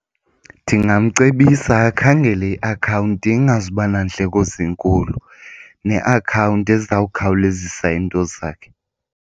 Ndingamcebisa akhangele iakhawunti ingazuba nandleko zinkulu neakhawunti ezawukhawulezisa into zakhe.